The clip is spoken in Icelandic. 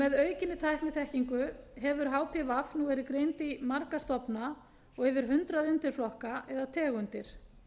með aukinni tækniþekkingu hefur hpv nú verið greind í marga stofna og yfir hundrað undirflokka eða tegundir